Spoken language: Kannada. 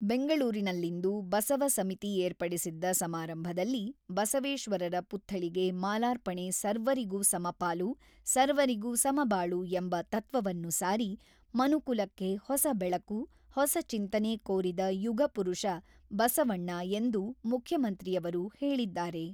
ಬೆಂಗಳೂರಿನಲ್ಲಿಂದು ಬಸವ ಸಮಿತಿ ಏರ್ಪಡಿಸಿದ್ದ ಸಮಾರಂಭದಲ್ಲಿ ಬಸವೇಶ್ವರರ ಪುತ್ಥಳಿಗೆ ಮಾಲಾರ್ಪಣೆ ಸರ್ವರಿಗೂ ಸಮಪಾಲು, ಸರ್ವರಿಗೂ ಸಮಬಾಳು ಎಂಬ ತತ್ವವನ್ನು ಸಾರಿ, ಮನುಕುಲಕ್ಕೆ ಹೊಸ ಬೆಳಕು, ಹೊಸ ಚಿಂತನೆ ಕೋರಿದ ಯುಗ ಪುರುಷ ಬಸವಣ್ಣ ಎಂದು ಮುಖ್ಯಮಂತ್ರಿಯವರು ಹೇಳಿದ್ದಾರೆ.